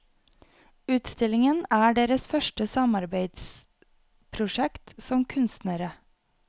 Utstillingen er deres første samarbeidsprosjekt som kunstnere.